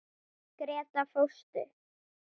Gréta fóstur.